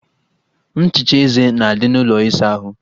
Nchicha eze na-adị n'ụlọ ịsa ahụ